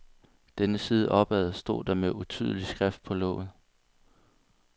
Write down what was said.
Denne side opad, stod der med utydelig skrift på låget.